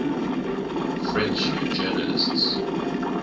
french journalists